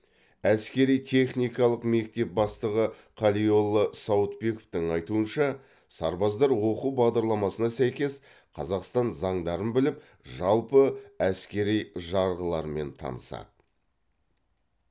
әскери техникалық мектеп бастығы қалиолла сауытбековтің айтуынша сарбаздар оқу бағдарламасына сәйкес қазақстан заңдарын біліп жалпы әскери жарғылармен танысады